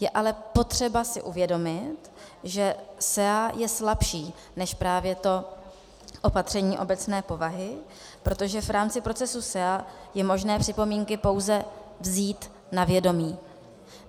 Je ale potřeba si uvědomit, že SEA je slabší než právě to opatření obecné povahy, protože v rámci procesu SEA je možné připomínky pouze vzít na vědomí.